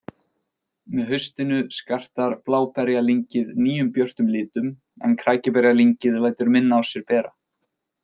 Með haustinu skartar bláberjalyngið nýjum björtum litum en krækiberjalyngið lætur minna á sér bera.